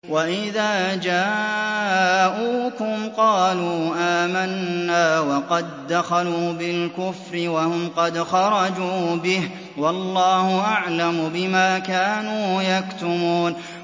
وَإِذَا جَاءُوكُمْ قَالُوا آمَنَّا وَقَد دَّخَلُوا بِالْكُفْرِ وَهُمْ قَدْ خَرَجُوا بِهِ ۚ وَاللَّهُ أَعْلَمُ بِمَا كَانُوا يَكْتُمُونَ